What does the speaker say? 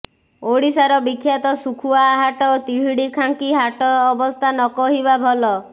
ଓଡିଶାର ବିଖ୍ୟାତ ଶୁଖୁଆ ହାଟ ତିହିଡି ଖାଙ୍କି ହାଟ ଅବସ୍ଥା ନ କହିବା ଭଲ